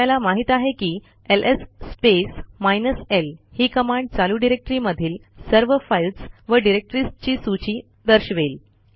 आपल्याला माहित आहे की एलएस स्पेस माइनस ल ही कमांड चालू डिरेक्टरीमधील सर्व फाईल्स व डिरेक्टरीजची सूची दर्शवेल